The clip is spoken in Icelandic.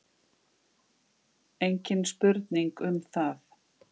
Engin spurning um það.